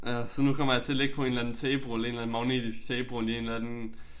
Ja så nu kommer jeg til at ligge på en eller anden taperulle en eller anden magnetisk taperulle i en eller anden